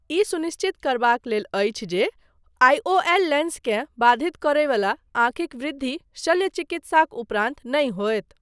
ई सुनिश्चित करबाक लेल अछि जे आईओएल लेन्सकेँ बाधित करय वला आँखिक वृद्धि शल्य चिकित्साक उपरान्त नहि होयत।